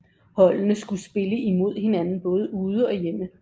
Holdene skulle spille imod hinanden både ude og hjemme